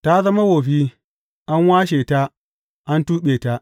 Ta zama wofi, an washe ta, an tuɓe ta!